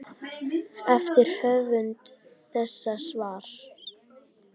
eftir höfund þessa svars.